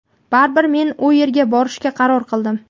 baribir men u yerga borishga qaror qildim.